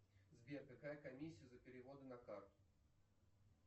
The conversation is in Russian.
сбер какая комиссия за переводы на карту